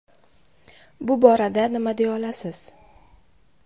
Bu borada nima deya olasiz?